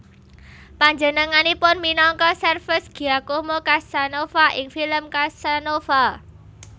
Panjenenganipun minangka serves Giacomo Casanova ing film Casanova